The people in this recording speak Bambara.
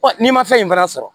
n'i ma fɛn in fana sɔrɔ